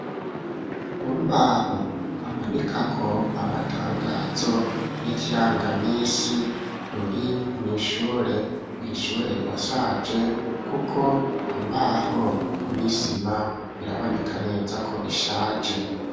Urubaho bamanikako amatangazo n'ikirangaminsi ruri nu ishure, ishure rirashaje kuko imbaho nisima biraboneka neza ko bishaje.